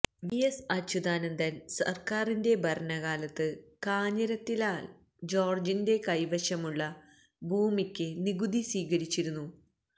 V S അച്യുതാനന്ദന് സര്ക്കാരിന്റെ ഭരണകാലത്ത് കാഞ്ഞിരത്തിനാല് ജോര്ജിന്റെ കൈവശമുള്ള ഭൂമിക്ക് നികുതി സ്വീകരിച്ചിരുന്നു